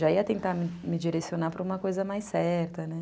Já ia tentar me direcionar para uma coisa mais certa, né?